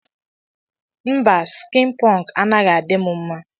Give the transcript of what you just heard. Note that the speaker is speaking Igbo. Mba skin punk anaghi adim mma.